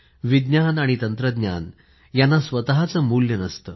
विज्ञान आणि तंत्रज्ञान यांना स्वतःचे मुल्य नसते